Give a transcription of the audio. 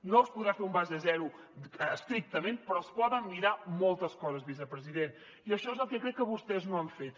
no es podrà fer un base zero estrictament però es poden mirar moltes coses vicepresident i això és el que crec que vostès no han fet